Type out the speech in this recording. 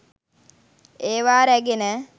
ඒවා රැගෙන